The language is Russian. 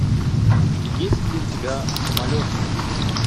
есть ли у тебя самолеты